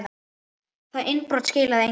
Það innbrot skilaði engu.